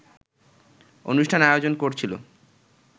অনুষ্ঠান আয়োজন করছিল